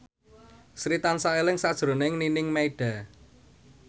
Sri tansah eling sakjroning Nining Meida